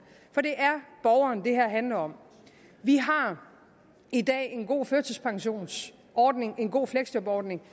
det her handler om vi har i dag en god førtidspensionsordning en god fleksjobordning